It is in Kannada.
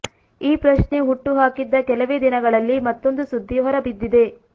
ಈ ಪ್ರಶ್ನೆ ಹುಟ್ಟು ಹಾಕಿದ್ದ ಕೆಲವೇ ದಿನಗಳಲ್ಲಿ ಮತ್ತೊಂದು ಸುದ್ಧಿ ಹೊರಬಿದ್ದಿದೆ